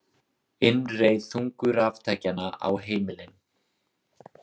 Innreið þungu raftækjanna á heimilin.